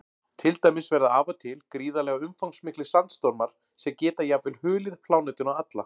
Til dæmis verða af og til gríðarlega umfangsmiklir sandstormar sem geta jafnvel hulið plánetuna alla.